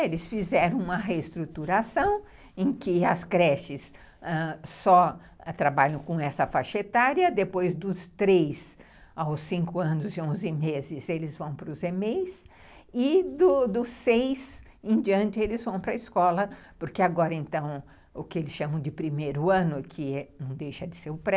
Eles fizeram uma reestruturação em que as creches, ãh, só trabalham com essa faixa etária, depois dos três aos cinco anos e onze meses eles vão para os e dos seis em diante eles vão para a escola, porque agora então o que eles chamam de primeiro ano, que não deixa de ser o pré,